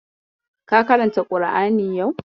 Ka karanta ƙur'ani yau?